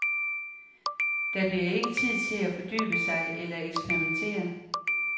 Der bliver ikke tid til at fordybe sig eller eksperimentere.